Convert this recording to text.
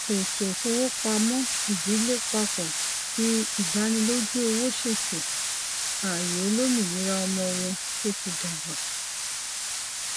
ètò ìfowópamọ ìdílé pápọ fi ìdánilójú owó ṣètò ayé olómìnira ọmọ wọn tó ti dàgbà